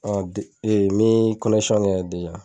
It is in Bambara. kɛ yan